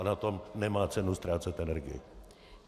A na tom nemá cenu ztrácet energii.